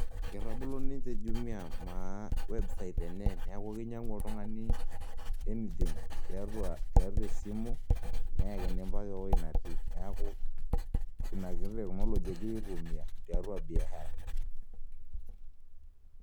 Ketabolo ninche Jumia maa website enye neeku kinyiang'u oltung'ani anything tiatua esimu neyakini mpaka ewueji natii neeku ina kiti teknology egirai aitumiaa tiatua biashara.